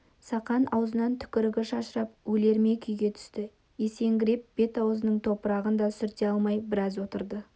сақан аузынан түкірігі шашырап өлер ме күйге түсті есеңгіреп бет-аузының топырағын да сүрте алмай біраз отырды